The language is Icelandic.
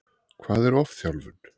Hvað er ofþjálfun?